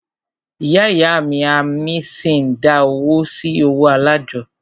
Ìyá ìyá a mí ṣi ń dá owó sí ọwọ́ alájọ́.